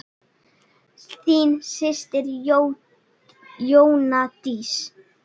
Þín systir Jóna Dísa.